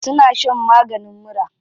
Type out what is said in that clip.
Suna shan maganin mura.